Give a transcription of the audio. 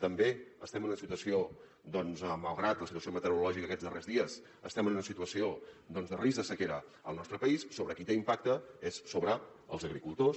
també estem en una situació malgrat la situació meteorològica d’aquests darrers dies estem en una situació de risc de sequera al nostre país sobre qui té impacte és sobre els agricultors